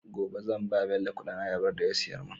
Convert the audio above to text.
gobe zan bawa bello Ƙudin ayabar da ya siyar mun